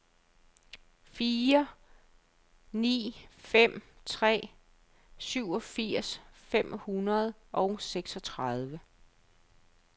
fire ni fem tre syvogfirs fem hundrede og seksogtredive